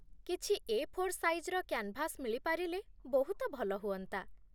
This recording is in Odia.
କିଛି 'ଏ. ଫୋର୍ ସାଇଜ୍'ର କ୍ୟାନ୍ଭାସ୍ ମିଳି ପାରିଲେ ବହୁତ ଭଲ ହୁଅନ୍ତା ।